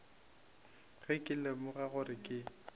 ge ke lemoga gore ke